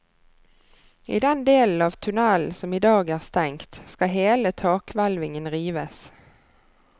I den delen av tunnelen som i dag er stengt, skal hele takhvelvingen rives.